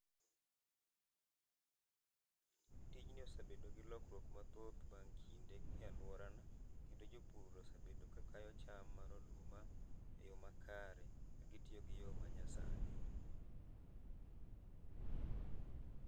Tijni osebedo gi lokruok mathoth bang' kinde e aluorana kendo jopur osebedo ka kayo cham mar oduma e yo makare, ka gitiyo gi yo ma nya sani